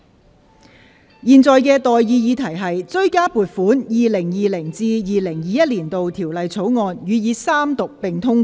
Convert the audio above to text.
我現在向各位提出的待議議題是：《追加撥款條例草案》予以三讀並通過。